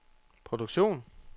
produktion